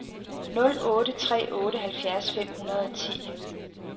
nul otte tre otte halvfjerds fem hundrede og ti